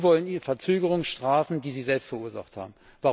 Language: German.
Sie wollen die Verzögerung bestrafen, die Sie selbst verursacht haben.